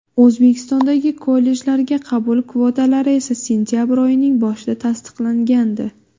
O‘zbekistondagi kollejlarga qabul kvotalari esa sentabr oyining boshida tasdiqlangandi .